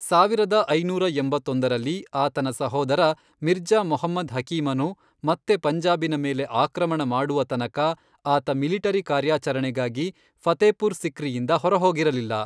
ಸಾವಿರದ ಐನೂರ ಎಂಬತ್ತೊಂದರಲ್ಲಿ, ಆತನ ಸಹೋದರ ಮಿರ್ಜಾ ಮೊಹಮ್ಮದ್ ಹಕೀಮನು ಮತ್ತೆ ಪಂಜಾಬಿನ ಮೇಲೆ ಆಕ್ರಮಣ ಮಾಡುವ ತನಕ ಆತ ಮಿಲಿಟರಿ ಕಾರ್ಯಾಚರಣೆಗಾಗಿ ಫತೇಪುರ್ ಸಿಕ್ರಿಯಿಂದ ಹೊರಹೋಗಿರಲಿಲ್ಲ.